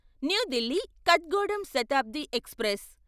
new Delhi Kathgodam Shatabdi express